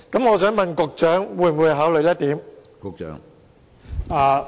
我想問局長會否考慮這一點？